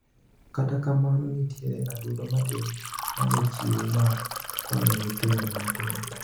Kata kamano nitiere adundo matin manochiwu mar konyo nyithindo matindo.